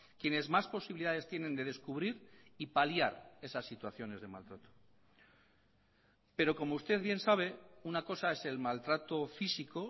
quienes más posibilidades tienen de descubrir y paliar esas situaciones de maltrato pero como usted bien sabe una cosa es el maltrato físico